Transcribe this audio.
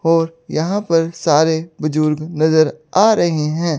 और यहां पर सारे बुजुर्ग नजर आ रहे है।